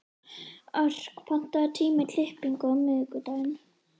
Örk, pantaðu tíma í klippingu á miðvikudaginn.